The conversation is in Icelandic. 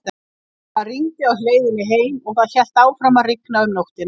Það rigndi á leiðinni heim og það hélt áfram að rigna um nóttina.